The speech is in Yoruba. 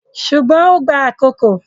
Ṣùgbọ́n ó ń gba àkókò.